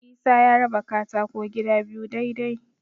Isa ya raba katako gida biyu dai-dai.